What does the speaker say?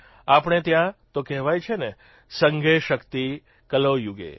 આપણે ત્યાં તો કહેવાય છે ને સંઘે શક્તિ કલૌયુગે